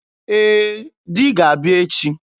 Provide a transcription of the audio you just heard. Ee, Di ga-abịa echi.